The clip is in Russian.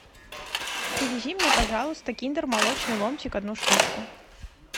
привези мне пожалуйста киндер молочный ломтик одну штучку